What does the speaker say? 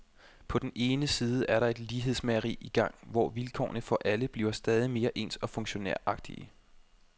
På den ene side er der et lighedsmageri i gang, hvor vilkårene for alle bliver stadig mere ens og funktionæragtige.